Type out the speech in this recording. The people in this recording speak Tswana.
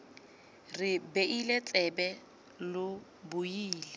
re beile tsebe lo buile